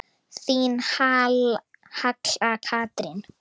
Þín Halla Katrín.